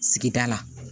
Sigida la